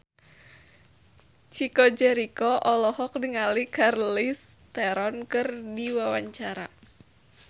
Chico Jericho olohok ningali Charlize Theron keur diwawancara